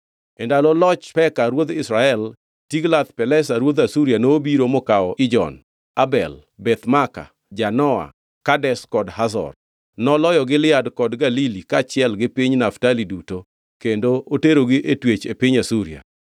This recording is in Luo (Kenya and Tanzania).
E ndalo loch Peka ruodh Israel, Tiglath-Pilesa ruodh Asuria nobiro mokawo Ijon, Abel Beth Maaka, Janoa, Kedesh kod Hazor. Noloyo Gilead kod Galili kaachiel gi piny Naftali duto, kendo oterogi e twech e piny Asuria.